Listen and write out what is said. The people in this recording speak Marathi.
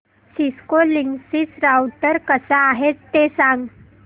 सिस्को लिंकसिस राउटर कसा आहे ते सांग